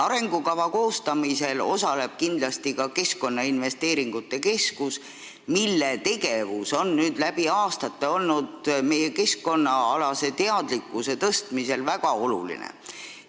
Arengukava koostamisel osaleb kindlasti ka Keskkonnainvesteeringute Keskus, mille tegevus on läbi aastate meie keskkonnaalase teadlikkuse tõstmisel väga oluline olnud.